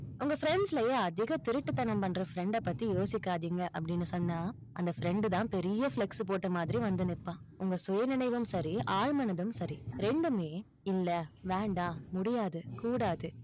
உங்க friends லயே அதிக திருட்டுத்தனம் பண்ற friend ட பத்தி யோசிக்காதீங்க, அப்படின்னு சொன்னா, அந்த friend தான் பெரிய flex board மாதிரி வந்து நிப்பான், உங்க சுயநினைவும் சரி, ஆழ்மனதும் சரி, ரெண்டுமே இல்ல, வேண்டாம், முடியாது, கூடாது.